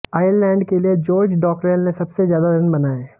Ireland के लिए George Dockrell ने सबसे ज्यादा रन बनाए